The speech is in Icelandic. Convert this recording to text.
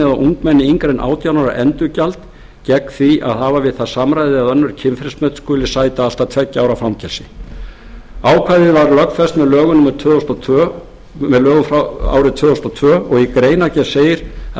ungmenni yngra en átján ára endurgjald gegn því að hafa við það samræði eða önnur kynferðismök skuli sæta allt að tveggja ára fangelsi ákvæðið var lögfest með lögum árið tvö þúsund og tvö og í greinargerð segir að